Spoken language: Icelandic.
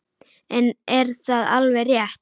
En er það alveg rétt?